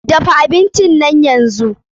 Dafa abinci nan yanzu!